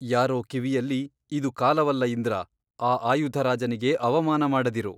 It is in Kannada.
ಯಾರೋ ಕಿವಿಯಲ್ಲಿ ಇದು ಕಾಲವಲ್ಲ ಇಂದ್ರ ಆ ಆಯುಧರಾಜನಿಗೆ ಅವಮಾನ ಮಾಡದಿರು.